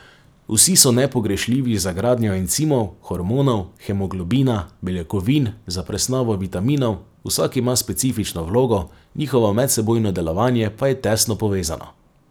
Vsi so nepogrešljivi za gradnjo encimov, hormonov, hemoglobina, beljakovin, za presnovo vitaminov, vsak ima specifično vlogo, njihovo medsebojno delovanje pa je tesno povezano.